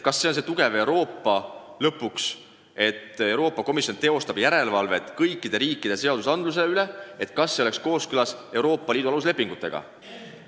Kas siis on Euroopa tugev, kui Euroopa Komisjon teostab järelevalvet kõikide riikide seadusandluse üle, et see oleks kooskõlas Euroopa Liidu aluslepinguga?